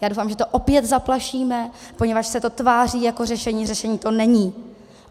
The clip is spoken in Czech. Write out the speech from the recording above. Já doufám, že to opět zaplašíme, poněvadž se to tváří jako řešení, řešení to není.